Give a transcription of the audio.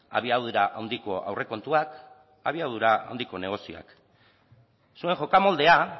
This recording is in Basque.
abiadura handiko aurrekontuak abiadura handiko negozioak zuen jokamoldea